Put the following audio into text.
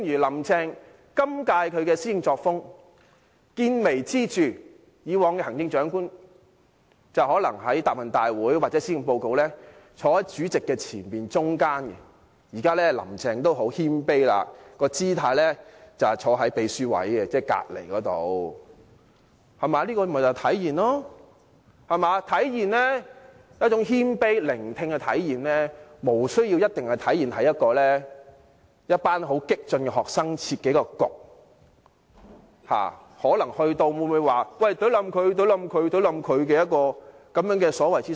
今屆特首"林鄭"的施政作風，見微知著，以往的行政長官在答問會或發表施政報告時均站在主席的前面中間位置，現在"林鄭"採取很謙卑的姿態，站在秘書的位置，即主席旁邊，這就體現了一種謙卑和願意聆聽的態度，無需一定要透過參與一群很激進的學生所設的諮詢論壇，即她到場後可能會有人喊"殺死她"的所謂諮詢會來體現。